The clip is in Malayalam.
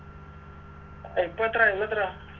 ഇപ്പൊ എത്രയാ ഇന്നെത്രയാ